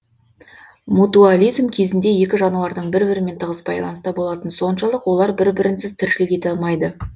мутуализм кезінде екі жануардың бір бірімен тығыз байланыста болатыны соншалық олар бір бірінсіз тіршілік ете алмайды